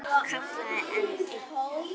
kallaði einn.